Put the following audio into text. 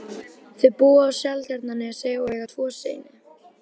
Þau búa á Seltjarnarnesi og eiga tvo syni.